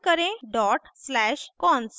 type करें dot slash cons